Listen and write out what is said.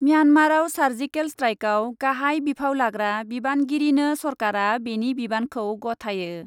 म्यानमाराव surgical स्ट्राइकआव गाहाइ बिफाव लाग्रा बिबानगिरिनो सरकारा बेनि बिबानखौ गथायो।